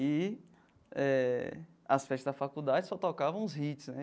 E eh as festas da faculdade só tocavam os hits, né?